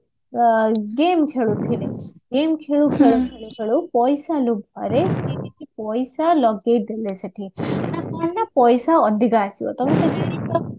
ଆ game ଖେଳୁଥିଲେ game ଖେଳୁ ଖେଳୁ ଖେଳୁ ଖେଲୁ ପଇସା ଲୋଭରେ ସିଏ କିଛି ପଇସା ଲଗେଇଦେଲେ ସେଠି ନାଁ କଣ ନାଁ ପଇସା ଅଧିକା ଆସିବା ତମେ ତ ଜାଣିଚ